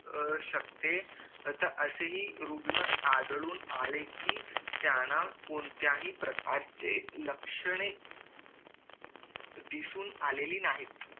अह शकते असेही रुग्ण आढळून आले कि त्यांना कोणत्याही प्रकारचे लक्षणे दिसून आलेली नाहीत